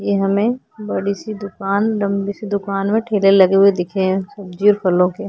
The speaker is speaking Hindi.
ये हमें बड़ी सी दुकान लंबी सी दुकान में ठेले लगे हुए दिखे हैं सब्जी और फलों के।